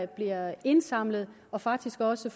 bliver indsamlet og faktisk også